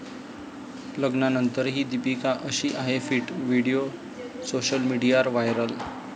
लग्नानंतरही दीपिका 'अशी' आहे फिट, व्हिडिओ सोशल मीडियावर व्हायरल